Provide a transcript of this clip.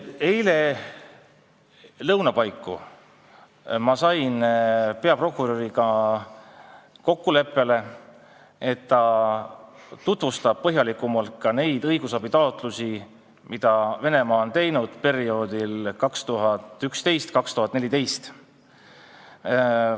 Eile lõuna paiku sain ma peaprokuröriga kokkuleppele, et ta tutvustab põhjalikumalt neid õigusabitaotlusi, mida Venemaa tegi perioodil 2011–2014.